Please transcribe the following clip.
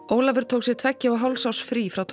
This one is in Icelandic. Ólafur tók sér tveggja og hálfs árs frí frá